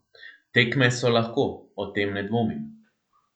Tekme so lahko, o tem ne dvomim.